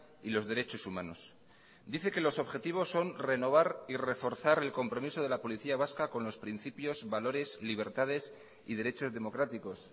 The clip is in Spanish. y los derechos humanos dice que los objetivos son renovar y reforzar el compromiso de la policía vasca con los principios valores libertades y derechos democráticos